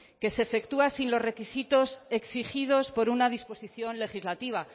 que se efectúa sin los requisitos exigidos por una disposición legislativa